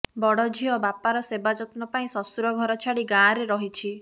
ବଡ ଝିଅ ବାପାର ସେବାଯତ୍ନ ପାଇଁ ଶ୍ୱଶୁର ଘର ଛାଡି ଗାଁରେ ରହିଛି